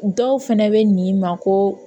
Dɔw fɛnɛ bɛ n'i ma ko